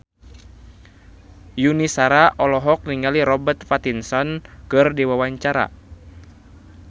Yuni Shara olohok ningali Robert Pattinson keur diwawancara